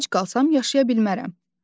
Ac qalsam yaşaya bilmərəm.